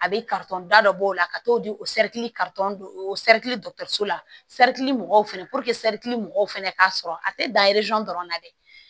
A bɛ da dɔ b'o la ka t'o di o o dɔtɔriso la mɔgɔw fana mɔgɔw fana k'a sɔrɔ a tɛ dan dɔrɔn na dɛ